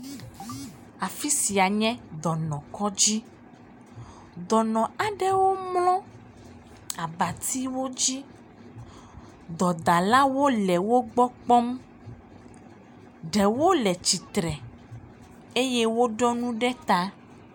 Afi sia nye dɔnɔkɔdzi, dɔnɔ aɖewo mlɔ abatiwo dzi. Dɔdalawo le wo gbɔ kpɔm. Ɖewo le tsitre eye woɖo nɔ ɖe ta.